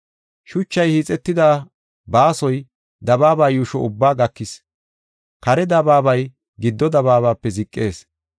Shuchay hiixetida baasoy dabaaba yuusho ubbaa gakis; kare dabaabay giddo dabaabape ziqees.